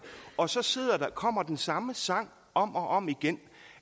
og så kommer den samme sang om og om igen